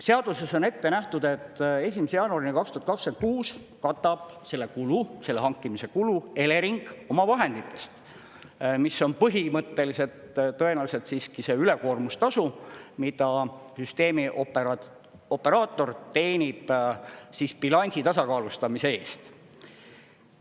Seaduses on ette nähtud, et 1. jaanuarini 2026 katab selle kulu, selle hankimise kulu Elering oma vahenditest, mis on põhimõtteliselt tõenäoliselt siiski see ülekoormustasu, mida süsteemioperaator teenib siis bilansi tasakaalustamise eest.